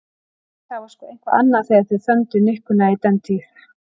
Nei, það var sko eitthvað annað þegar þeir þöndu nikkuna í dentíð.